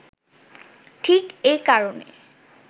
ঠিক এ কারণে